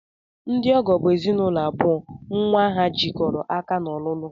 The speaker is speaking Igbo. Ndị ọgọ bụ ezinụlọ abụọ nnwa ha jikọrọ aka n'ọlụlụ